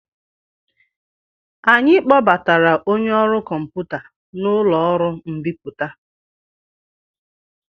Anyị kpọbatara onye ọrụ kọmputa n'ụlọ ọrụ mbipụta.